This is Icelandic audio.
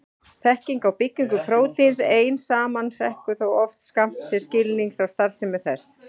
Þekking á byggingu prótíns ein saman hrekkur þó oft skammt til skilnings á starfsemi þess.